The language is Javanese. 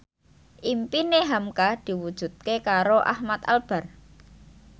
impine hamka diwujudke karo Ahmad Albar